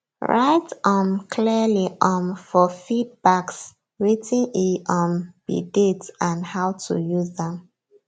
write um clearly um for feed bagswetin e um be date and how to use am